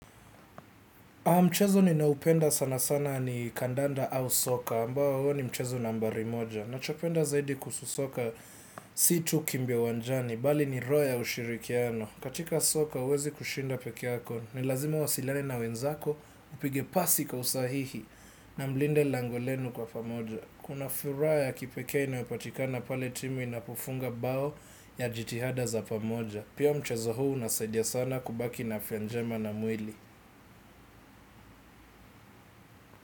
Mchezo ninao upenda sana sana ni kandanda au soka, ambao huo ni mchezo nambari moja. Nacho penda zaidi kuhusu soka si tu kimbia uwanjani, bali ni roho ya ushirikiano. Katika soka huwezi kushinda pekee yako, ni lazima uwasiliane na wenzako upige pasi kwa usahihi na mlinde lango lenu kwa pamoja. Kuna fura ya kipekee inayopatikana pale timu inapofunga bao ya jitihada za pamoja. Pia mchezo huu unasaidia sana kubaki na afya njema na mwili.